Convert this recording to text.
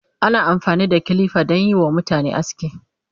ana amfani da kilifa danyi WA mutane aski